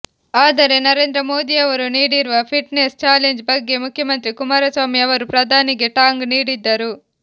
ಆದರೆ ನರೇಂದ್ರ ಮೋದಿಯವರು ನೀಡಿರುವ ಫಿಟ್ನೆಸ್ ಚಾಲೆಂಜ್ ಬಗ್ಗೆ ಮುಖ್ಯಮಂತ್ರಿ ಕುಮಾರಸ್ವಾಮಿ ಅವರು ಪ್ರಧಾನಿಗೆ ಟಾಂಗ್ ನೀಡಿದ್ದರು